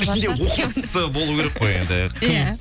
оқымыстысы болу керек қой енді кім